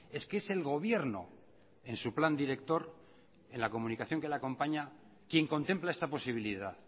es que es el gobierno en su plan director en la comunicación que le acompaña quien contempla esta posibilidad